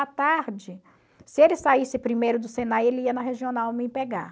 À tarde, se ele saísse primeiro do Senai, ele ia na regional me pegar.